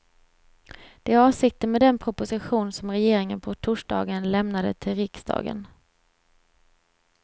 Det är avsikten med den proposition som regeringen på torsdagen lämnade till riksdagen.